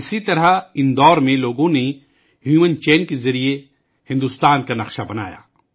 اسی طرح اندور میں لوگوں نے انسانی چین کے ذریعے بھارت کا نقشہ بنایا